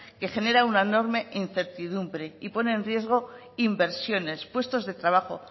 que genera una enorme incertidumbre y pone en riesgo inversiones puestos de trabajo